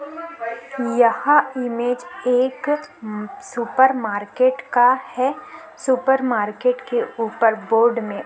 यहाँ इमेज एक supermarket का है सुपर मार्केट के ऊपर बोर्ड में--